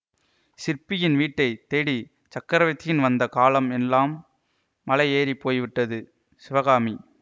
சிற்பியின் வீட்டைத் தேடி சக்கரவர்த்தின் வந்த காலம் எல்லாம் மலை ஏறி போய்விட்டது சிவகாமி